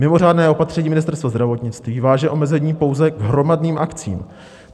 Mimořádné opatření Ministerstva zdravotnictví váže omezení pouze k hromadným akcím.